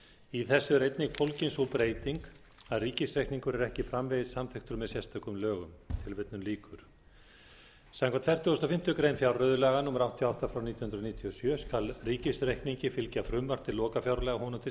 í þessu er einnig fólgin sú breyting að ríkisreikningur er ekki framvegis samþykktur með sérstökum lögum samkvæmt fertugustu og fimmtu grein fjárreiðulaga númer áttatíu og átta nítján hundruð níutíu og sjö skal ríkisreikningi fylgja frumvarp til lokafjárlaga honum til